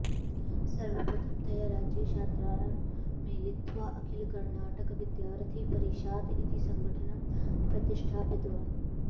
सर्वप्रथमतया राज्ये छात्रान् मेलयित्वा अखिलकर्णाटकविद्यार्थिपरिषात् इति सङ्घटनं प्रतिष्ठापितवान्